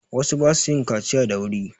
Wasu ba su yin kaciya da wuri.